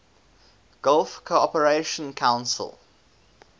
gulf cooperation council